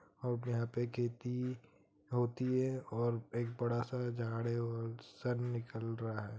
--और यहां पे खेती होती है और एक बड़ा सा झाड़ है और सन निकल रहा है।